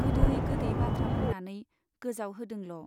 गोदै गोदै बाथ्रा बुंनानै गोजावहोदोंल'।